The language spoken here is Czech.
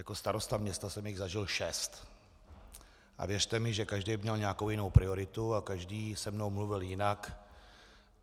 Jako starosta města jsem jich zažil šest a věřte mi, že každý měl nějakou jinou prioritu a každý se mnou mluvil jinak.